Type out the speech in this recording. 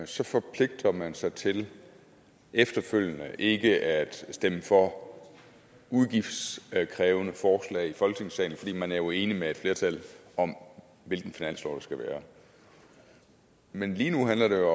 så forpligter man sig til efterfølgende ikke at stemme for udgiftskrævende forslag i folketingssalen fordi man jo er enig med et flertal om hvilken finanslov der skal være men lige nu handler det